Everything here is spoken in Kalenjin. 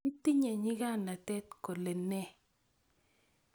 Itinye nyikanatet kolene?